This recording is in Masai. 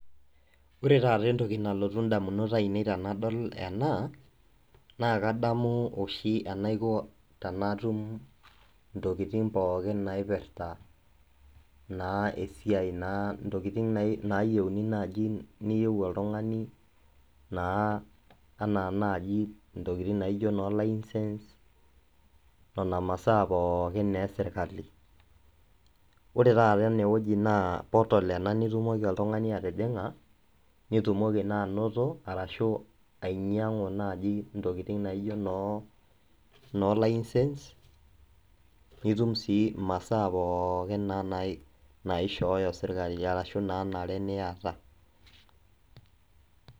Ore entoki nalotu ndamunot ainei tenadol ena naa kadamu oshi eneiko tenatum intokitin pookin naipirta intokitin niyieu oltungani anaa naaji laises aashu nena masaa pookin naa e sirkali. Ore taata ene wueji naa {portal} nijing oltungani pee itumoki ainyiangu Ashu anoto laises aashu ntokitin naishooyo sirkali naanare niata.